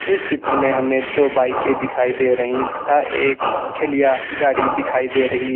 इस चित्र में हमें दो बाइकें दिखाई दे रही तथा एक ठेलिया गाड़ी दिखाई दे रही है।